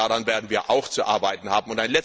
Daran werden wir auch zu arbeiten haben.